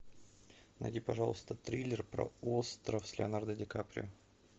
найди пожалуйста триллер про остров с леонардо ди каприо